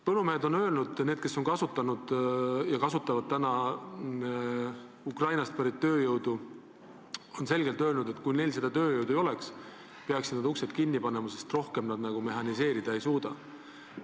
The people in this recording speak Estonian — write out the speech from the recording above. Need põllumehed, kes on kasutanud ja kasutavad praegu Ukrainast pärit tööjõudu, on selgelt öelnud, et kui neil seda tööjõudu ei oleks, peaksid nad uksed kinni panema, sest rohkem nad mehhaniseerida ei suuda.